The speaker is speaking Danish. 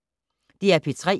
DR P3